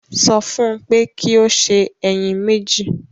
Sọ fún un pé kí ó sè ẹyin mẹ́jì